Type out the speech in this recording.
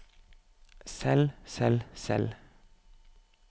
selv selv selv